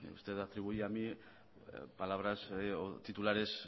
usted me atribuye palabras o titulares